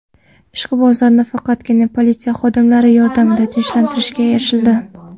Ishqibozlarni faqatgina politsiya xodimlari yordamida tinchlantirishga erishildi.